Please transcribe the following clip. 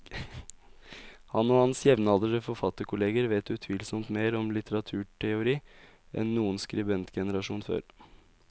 Han og hans jevnaldrende forfatterkolleger vet utvilsomt mer om litteraturteori enn noen skribentgenerasjon før.